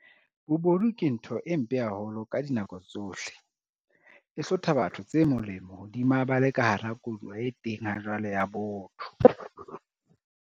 Bobodu ke ntho e mpe haholo ka dinako tsohle, e hlotha batho tse molemo hodima ba le ka hara koduwa e teng hajwale ya botho.